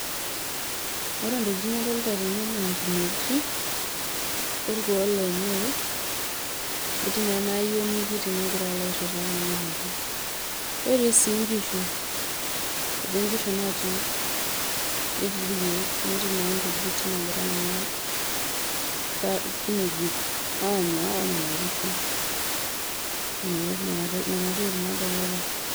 ore entokitin nadolita tena na inkineji olkuo lenye, etii na ena ayioni kiti nangira alo airita kuna kineji, netii sii inkishu eti inkishu naati netii ilkeek netii na nkujita nagira kuna kinejik anya onena kishu ee nena tokitin na adolita.